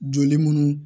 Joli munnu